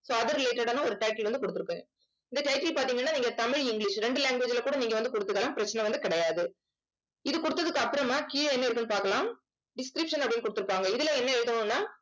so அது related ஆன ஒரு title வந்து குடுத்திருப்பேன் இந்த title பாத்தீங்கன்னா நீங்க தமிழ் english ரெண்டு language ல கூட நீங்க வந்து குடுத்துக்கலாம் பிரச்சனை வந்து கிடையாது இது கொடுத்ததுக்கு அப்புறமா கீழே என்ன இருக்குன்னு பார்க்கலாம் description அப்படின்னு கொடுத்திருக்காங்க இதுல என்ன எழுதணும்ன்னா